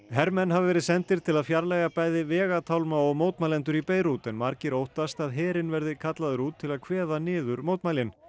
hermenn hafa verið sendir til að fjarlægja bæði vegatálma og mótmælendur í Beirút en margir óttast að herinn verði kallaður út til að kveða niður mótmælin